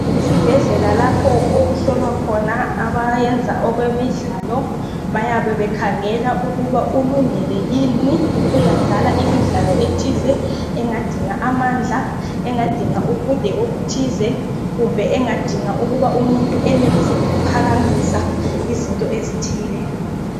Isibhedlela lapho okuhlolwa khona abayenze okwemidlalo. Bayabe bekhangela, kuthi ulungile yini ukuyadlala imidlalo ethiza. Engadinga amandla , ubude obuthize. Kumbe engadinga ukuthi umuntu enelise ukuphakamisa izinto ezithile.